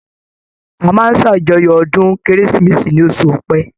A máa ń ṣàjọyọ̀ ọdún Kérésìmesì ní oṣụ̀ Ọ̀pẹ.